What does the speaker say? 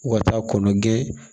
U ka taa kɔnɔnɛn